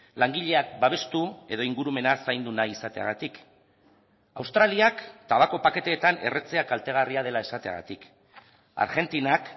langileak babestu edo ingurumena zaindu nahi izateagatik australiak tabako paketeetan erretzea kaltegarria dela esateagatik argentinak